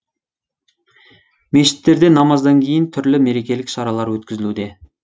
мешіттерде намаздан кейін түрлі мерекелік шаралар өткізілуде